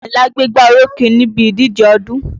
Àyìnlá gbégbá orókè níbi ìdíjẹ ọdún